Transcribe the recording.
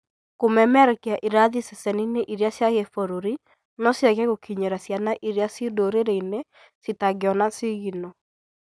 Kũmemerekia irathi ceceni-inĩ cia gĩburũri no ciage gũkinyĩra ciana irĩa ci ndũrĩrĩ-inĩ citangiona sigino.